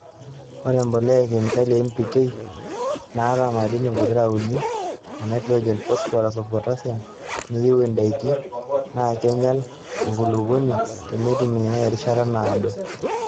Ore embolea e kemikali e NPK naata madini pokira uni e naitrojeni, phosphorus oo potassium nayieu ndaiki naa keinyal enkulukuoni teneitumiyai terishata naado.